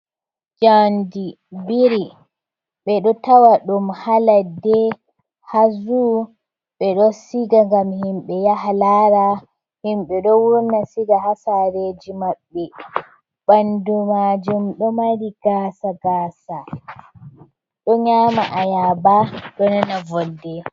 Jaandi biri. Ɓe ɗo tawa ɗum haa ladde, haa zuu, ɓe ɗo siga ngam himɓe yaha laara. Himɓe ɗo wurna siga haa saareji maɓɓe. Ɓandu maajum ɗo mari gaasa- gaasa ɗo nyaama ayaaba, ɗo nana volde.